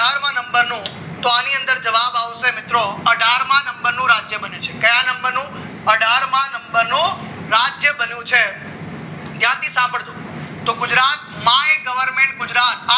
નંબરનો તો આની અંદર જવાબ આવશે મિત્રો અઢાર માં નંબરનું રાજ્ય બન્યું છે કયા નંબરનો અઢાર માં નંબરનો બન્યો છે ધ્યાનથી સાંભળજો તો ગુજરાત માય ગવર્મેન્ટ ગુજરાત